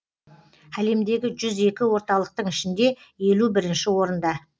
әлемдегі жүз екі орталықтың ішінде елу бірінші орында